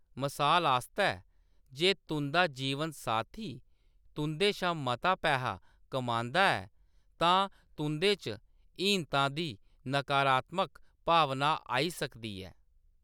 मसाल आस्तै, जे तुंʼदा जीवनसाथी तुंʼदे शा मता पैहा कमांदा ऐ, तां तुंʼदे च हीनता दी नकारात्मक भावना आई सकदी ऐ।